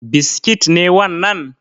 Biskit ne wannan?